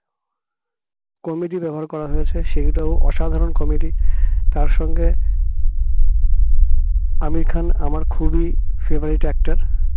comedy ব্যবহার করা হয়েছে সেটাও অসাধারণ comedy তার সঙ্গে আমির খান আমার খুবই favourite actor